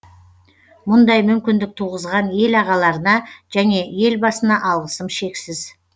мұндай мүмкіндік туғызған ел ағаларына және елбасына алғысым шексіз